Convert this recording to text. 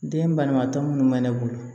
Den balima tɔ minnu bɛ ne bolo